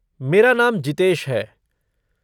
मेरा नाम जितेश है।